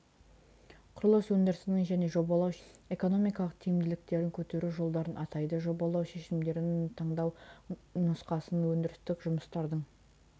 құрылыс өндірісінің және жобалау шешімдерінің экономикалық тиімділіктерін көтеру жолдарын атайды жобалау шешімдерін таңдау нұсқасын өндірістік жұмыстардың